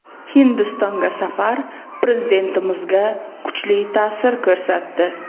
Hindistonga safar Prezidentimizga kuchli ta’sir ko‘rsatdi.